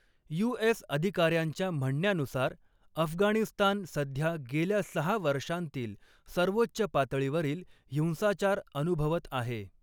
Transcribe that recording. You. S. अधिकाऱ्यांच्या म्हणण्यानुसार, अफगाणिस्तान सध्या गेल्या सहा वर्षांतील सर्वोच्च पातळीवरील हिंसाचार अनुभवत आहे.